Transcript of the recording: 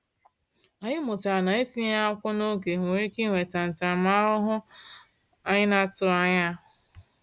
Anyị mụtara na etinyeghị akwụkwọ n’oge nwere ike iweta ntaramahụhụ anyị na-atụghị anya ya.